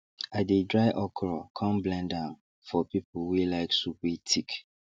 i dey dry okro come blend am for people wey like soup wey thick